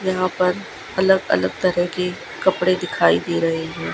यहां पर अलग अलग तरह की कपड़े दिखाई दे रहे हैं।